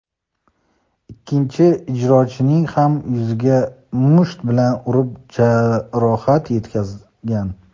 ikkinchi ijrochining ham yuziga musht bilan urib jarohat yetkazgan.